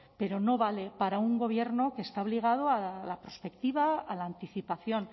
pero no vale para un gobierno que está obligado a la prospectiva a la anticipación